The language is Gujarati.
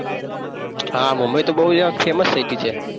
હા મુંબઈ તો બૌ યાર famous city છે.